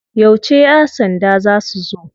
Yauce ya sanda za su zo?